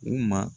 U ma